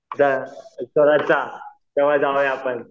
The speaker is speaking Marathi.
तेंव्हा जाऊया आपण